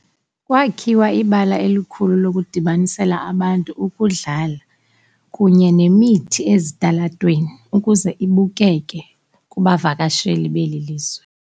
Kwakhiwa ibala elikhulu lokudibanisela abantu ukudlala kunye nemithi ezitalatweni ukuze ibukeke kubavakasheli belilizwe.